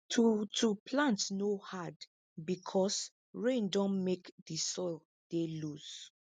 to to plant no hard because rain don make di soil dey loose